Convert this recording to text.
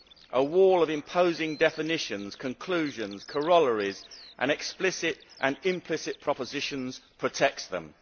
A wall of imposing definitions, conclusions, corollaries, and explicit and implicit propositions protects them.